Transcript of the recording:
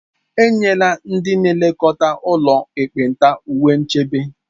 E nyela ndị na-elekọta ụlọ ekpenta uwe nchebe